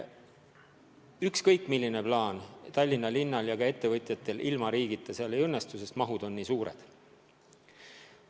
Ükskõik milline plaan Tallinna linnal ja ka ettevõtjatel pole, ilma riigita asi ei õnnestu, sest mahud on nii suured.